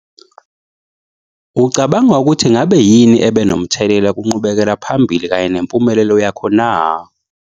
Ucabanga ukuthi ngabe yini ebe nomthelela kunqubekela phambili kanye nempumelelo yakho na?